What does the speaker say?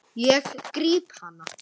Ég gríp hana.